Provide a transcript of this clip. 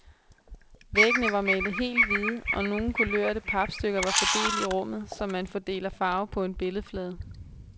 Væggene var malet helt hvide, og nogle kulørte papstykker var fordelt i rummet, som man fordeler farve på en billedflade.